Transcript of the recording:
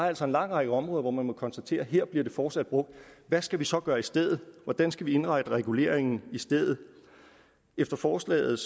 altså en lang række områder hvor man må konstatere at her bliver den fortsat brugt og hvad skal vi så gøre i stedet hvordan skal vi indrette reguleringen i stedet efter forslaget